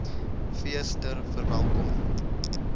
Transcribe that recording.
fees ter verwelkoming